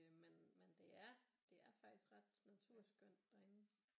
Men øh men det er faktisk ret naturskønt derinde